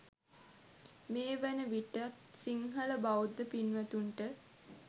මේ වන විටත් සිංහල බෞද්ධ පින්වතුන්ට